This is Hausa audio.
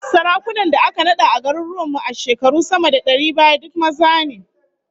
Sarakunan da aka nada a garuruwan mu a shekaru sama da dari baya, duk maza ne